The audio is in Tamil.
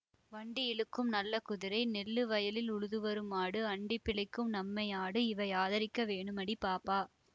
வண்டி இழுக்கும்நல்ல குதிரை நெல்லு வயலில் உழுதுவரும் மாடு அண்டிப் பிழைக்கும் நம்மை ஆடு இவை ஆதரிக்க வேணுமடி பாப்பா